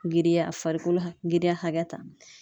Girinya a farikolo girinya hakɛ ta